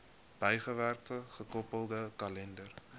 bygewerkte gekoppelde kalender